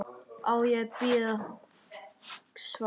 Á ég að bíða svars?